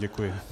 Děkuji.